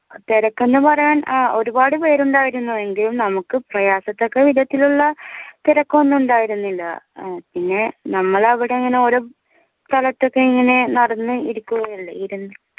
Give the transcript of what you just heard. തിരക്കെന്ന് പറയാൻ അഹ് ഒരുപാട് പേരുണ്ടായിരുന്നു എങ്കിലും നമുക്ക് പ്രയാസത്തക്ക വിധത്തിലുള്ള തിരക്കൊന്നും ഇണ്ടായിരുന്നില്ല ഏർ പിന്നെ നമ്മൾ അവടെ ഇങ്ങനെ ഓരോ സ്ഥലത്തൊക്കെ ഇങ്ങനെ നടന്നു ഇരിക്കുകയല്ലേ ഇരിന്ന്